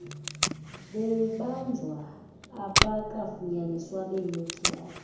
bebanjwa abakafunyaniswa benetyala